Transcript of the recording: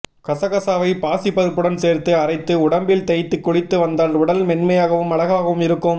கசகசாவை பாசிபருப்புடன் சேர்த்து அரைத்து உடம்பில் தேய்த்து குளித்து வந்தால் உடல் மென்மையாகவும் அழகாகவும் இருக்கும்